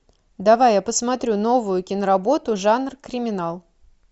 давай я посмотрю новую киноработу жанр криминал